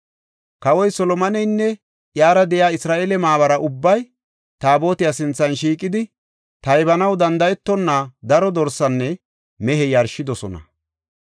Kawoy Solomoneynne iyara de7iya Isra7eele maabara ubbay Taabotiya sinthan shiiqidi, taybanaw danda7etonna daro dorsenne mehe yarshidosona.